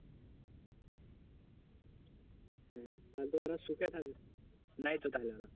হম হয়তো ওরা থাকবে নাই তাদের